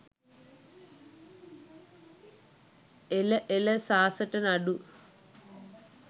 එල එල සාසට නඩු